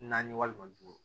Naani walima duuru